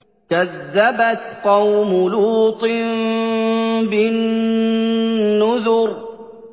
كَذَّبَتْ قَوْمُ لُوطٍ بِالنُّذُرِ